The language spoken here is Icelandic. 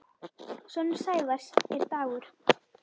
Sonur Sævars er Dagur.